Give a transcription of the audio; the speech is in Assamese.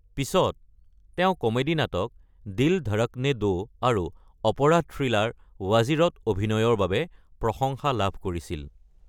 পিছত, তেওঁ কমেডি-নাটক 'দিল ধড়কনে দো' আৰু অপৰাধ থ্ৰিলাৰ ‘ৱাজিৰ' ত অভিনয়ৰ বাবে প্ৰশংসা লাভ কৰিছিল।